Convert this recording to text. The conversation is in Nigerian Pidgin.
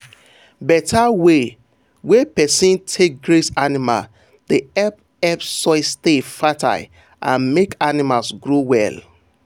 better way wey person take graze animal dey help help soil stay fertile and make animals grow well.